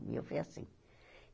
O meu foi assim.